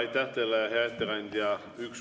Aitäh teile, hea ettekandja!